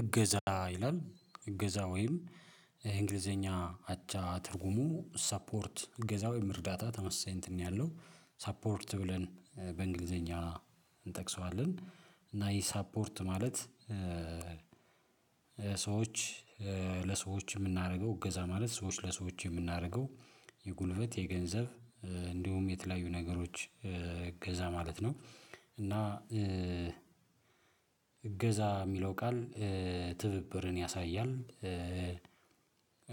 እገዛ ይላል እገዛ ወይም የእንግሊዝኛ አቻ ትርጉሙ ሳፖርት እገዛ ወይም እርዳታ ተመሳይ እንትን ነው ያለው ሳፖርት ብለን በእንግሊዝኛ እንጠቅሰዋለን። እና ይሄ ሳፖርት ማለት ሰዎች ለሰዎች እምናደርገው እገዛ ማለት ሰዎች ለሰዎች እምናደርገው የጉልበት የገንዘብ እንዲሁም የተለያዩ ነገሮች እገዛ ማለት ነው። እና እገዛ እሚለው ቃል ትብብርን ያሳያል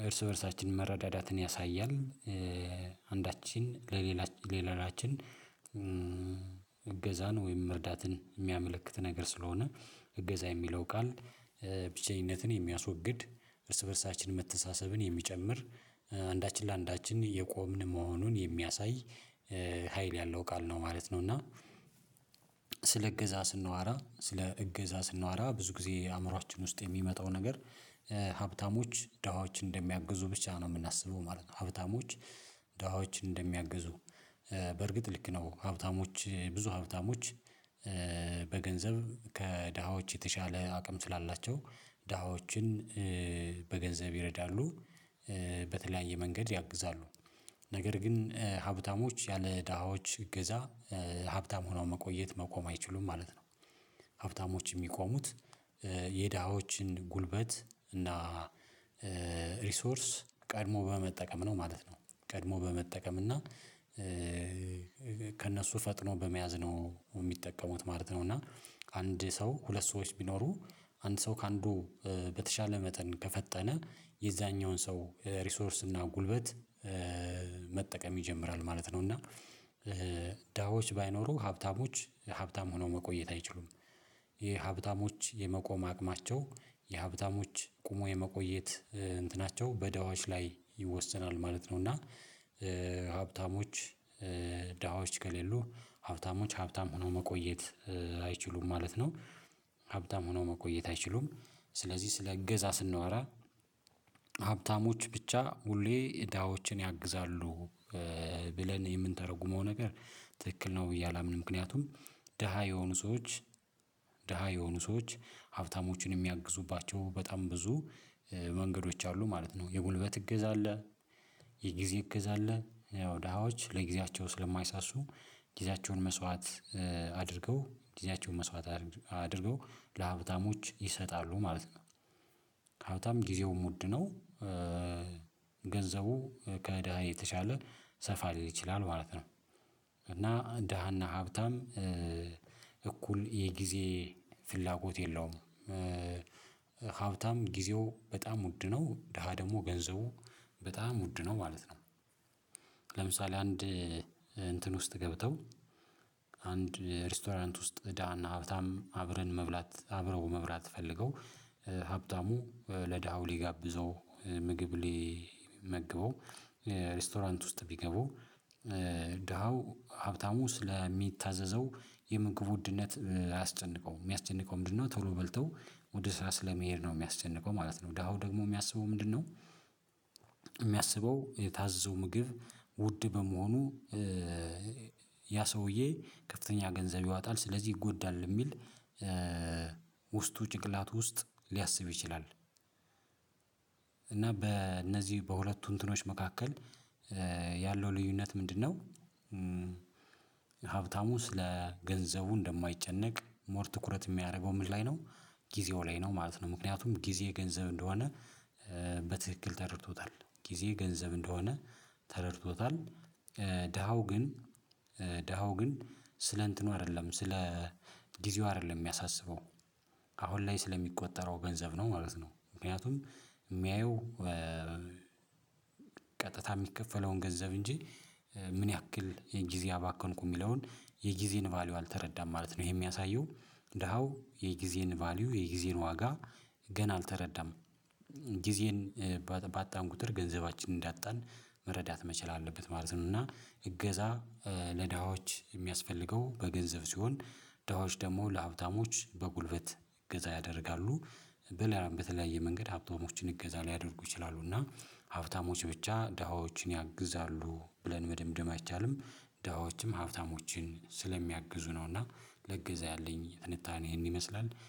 እርስ በዕርሳችን መረዳዳትን ያሳያል። አንዳችን ለሌላችን እገዛን ወይም መርዳትን እሚያመለክት ነገር ስለሆነ እገዛ የሚለው ቃል ብቸኝነትን የሚያስወግድ እርስ በእርሳችን መተሳሰብን የሚጨምር አንዳችን ለአንዳችን እየቆምን መሆኑን የሚያሳይ ሀይል ያለው ቃል ነው ማለት ነው። እና ስለ ዕገዛ ስንወራ ስለ እገዛ ስንወራ ብዙ ጊዜ አዕምሯችን ውስጥ የሚመጣው ነገር ሀብታሞች ደሃዎችን እንደሚያግዙ ብቻ ነው እምናስበው ማለት ነው። ሀብታሞች ደሃዎች እንደሚያግዙ በርግጥ ልክ ነው ሀብታሞች ብዙ ሀብታሞች በገንዘብ ከድሃዎች የተሻለ አቅም ስላላቸው ድሃዎችን በገንዘብ ይረዳሉ። በተለያየ መንገድ ያግዛሉ ነገር ግን ሀብታሞች ያለ ድሃዎች ዕገዛ ሀብታም ሆነው መቆየት መቆም አይችሉም ማለት ነው። ሀብታሞች እሚቆሙት የድሃዎችን ጉልበት እና ሪሶርስ ቀድሞ በመጠቀም ነው ማለት ነው ቀድሞ በመጠቀም እና ከእነሱ ፈጥኖ በመያዝ ነው እሚጠቀሙት ማለት ነው። እና አንድ ሰው ሁለት ሰዎች ቢኖሩ አንድ ሰው ከአንዱ በተሻለ መጠን ከፈጠነ የዛኛውን ሰው ሪሶርስ እና ጉልበት መጠቀም ይጀምራል ማለት ነው። እና ድሃዎች ባይኖሩ ሀብታሞች ሀብታም ሆነው መቆየት አይችሉም ይሄ ሀብታሞች የመቆም አቅማቸው የሀብታሞች ቆሞ የመቆየት እንትናቸው በድሃዎች ላይ ይወሰናል ማለት ነው። እና ሀብታሞች ድሃዎች ከሌሉ ሀብታሞች ሀብታም ሆነው መቆየት አይችሉም ማለት ነው። ሀብታም ሆነው መቆየት አይችሉም ስለዚህ ስለ እገዛ ስንወራ ሀብታሞች ብቻ ሁሌ ድሃዎችን ያግዛሉ ብለን የምንተረጉመው ነገር ትክክል ነው ብዬ አላምንም። ምክንያቱም ድሃ የሆኑ ሰዎች ድሃ የሆኑ ሰዎች ሀብታሞችን እሚያግዙባቸው በጣም ብዙ መንገዶች አሉ ማለት ነው የምልበት እገዛ አለ። የጊዜ እገዛ አለ ያው ድሃዎች ለጊዜያቸው ስለማይሳሱ ጊዜያቸውን መስዋዕት አድርገው ጊዜያቸውን መስዋዕት አድርገው ለሀብታሞች ይሰጣሉ ማለት ነው። ከሀብታም ጊዜውም ውድ ነው ገንዘቡ ከድሀ የተሻለ ሰፋ ሊል ይችላል ማለት ነው። እና ድሃና ሀብታም እኩል የጊዜ ፍላጎት የለውም ሀብታም ጊዜው በጣም ውድ ነው ድሃ ደግሞ ገንዘቡ በጣም ውድ ነው ማለት ነው። ለምሳሌ አንድ እንትን ውስጥ ገብተው አንድ ሬስቶራንት ውስጥ ድና ሀብታም አብረው መብላት ፈልገው ሀብታሙ ለድሃው ሊጋብዘው ምግብ ሊመግበው ሬስቶራንት ውስጥ ቢገቡ ድሃው ሀብታሙ ስለሚታዘዘው የምግብ ውድነት አያስጨንቀውም እሚያስጨንቀው ምንድነው ቶሎ በልተው ወደ ስራ ስለመሄድ ነው እሚያስጨንቀው ማለት ነው። ድሃው ደግሞ እሚያስበው ምንድነው እሚያስበው የታዘዘው ምግብ ውድ በመሆኑ ያ ሰውዬ ከፍተኛ ገንዘብ ያወጣል ስለዚህ ይጎዳል እሚል ውስጡ ጭቅላት ውስጥ ሊያስብ ይችላል። በእነዚህ በሁለቱ እንትኖች መካከል ያለው ልዩነት ምንድነው? ሀብታሙ ስለ ገንዘቡ እንደማይጨነቅ ሞር ትኩረት እሚያደርገው ምን ላይ ነው ጊዜው ላይ ነው ማለት ነው። ምክንያቱም ጊዜ ገንዘብ እንደሆነ በትክክል ተረድቶታል ጊዜ ገንዘብ እንደሆነ ተረድቶታል ድሃው ግን ድሃው ግን ስለ እንትኑ አይደለም ስለ ጊዜው አይደለም እሚያሳስበው አሁን ላይ ስለሚቆጠረው ገንዘብ ነው ማለት ነው። ምክንያቱም እሚያየው ቀጥታ እሚከፈለውን ገንዘብ እንጂ ምን ያክል ጊዜ አባከንኩ እሚለውን የጊዜን ቫልዩ አልተረዳም ማለት ነው። ይሄ እሚያሳየው ደሃው የጊዜን ቫልዩ የጊዜን ዋጋ ገና አልተረዳም ጊዜን ባጣን ቁጥር ገንዘባችንን እንዳጣን መረዳት መቻል አለበት ማለት ነው። እና እገዛ ለድሃዎች የሚያስፈልገው በገንዘብ ሲሆን ድሃዎች ደግሞ ለሀብታሞች በጉልበት እገዛ ያደርጋሉ በሌላም በተለያየ መንገድ ሀብታሞችን እገዛ ሊያደርጉ ይችላሉ እና ሀብታሞች ብቻ ድሀዎችን ያግዛሉ ብለን መደምደም አይቻልም። ድሀዎችም ሀብታሞችን ስለሚያግዙ ነው እና ለዕገዛ ያለኝ ትንታኔ ይሄን ይመስላል